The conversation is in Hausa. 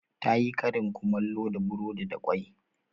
Ta yi karin kumallo da burodi da kwai.